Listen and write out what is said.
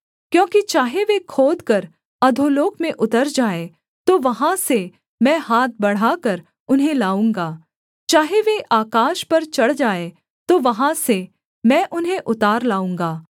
क्योंकि चाहे वे खोदकर अधोलोक में उतर जाएँ तो वहाँ से मैं हाथ बढ़ाकर उन्हें लाऊँगा चाहे वे आकाश पर चढ़ जाएँ तो वहाँ से मैं उन्हें उतार लाऊँगा